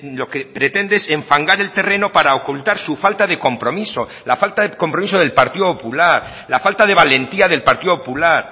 lo que pretende es enfangar el terreno para ocultar su falta de compromiso la falta de compromiso del partido popular la falta de valentía del partido popular